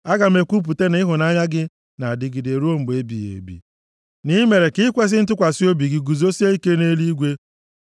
Aga m ekwupụta na ịhụnanya gị na-adịgide ruo mgbe ebighị ebi; na i mere ka ikwesi ntụkwasị obi gị, guzosie ike nʼeluigwe.